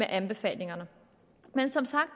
anbefalingerne men som sagt